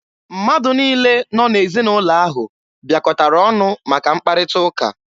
Mmadụ niile nọ n'ezinaụlọ ahụ bịakọtara ọnụ maka mkparịta ụka.